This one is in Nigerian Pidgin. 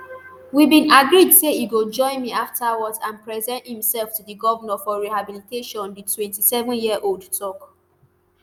we bin agreed say e go join me afterwards and present imsef to di govnor for rehabilitation di twenty-sevenyearold tok